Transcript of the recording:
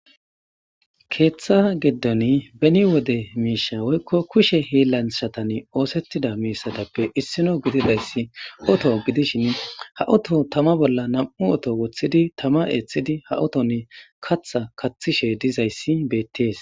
Keththa giidon beni wodde mishsha woykko kushse hiilanchatan oththetida mishshatappe issino giddidaysi ooto giddishin ha ooto tamma bolla nam'u ooto woththidi tamma eththidi ha ooton kaththa kaththishe diizayssi bettes.